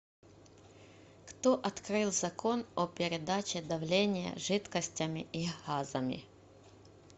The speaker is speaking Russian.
кто открыл закон о передаче давления жидкостями и газами